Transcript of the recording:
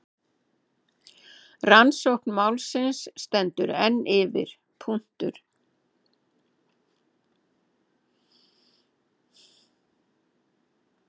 Rannsókn málsins stendur enn yfir.